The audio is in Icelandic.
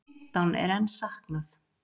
Fimmtán er enn saknað.